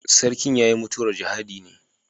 Sarkin ya yi mutuwar jihadi ne.